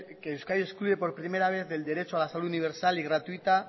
excluye por primera vez del derecho a la salud universal y gratuita